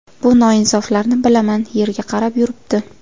Bu noinsoflarni bilaman, yerga qarab yuribdi.